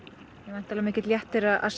væntanlega mikill léttir að